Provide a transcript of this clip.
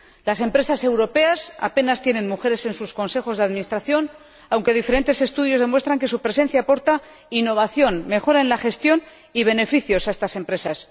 Las empresas europeas apenas cuentan con mujeres en sus consejos de administración, aunque diferentes estudios demuestran que su presencia aporta innovación, mejora en la gestión y beneficios a estas empresas.